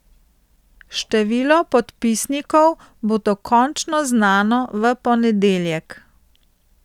Število podpisnikov bo dokončno znano v ponedeljek.